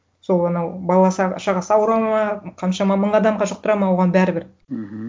сол анау шағасы ауырады ма қаншама мың адамға жұқтырады ма оған бәрібір мхм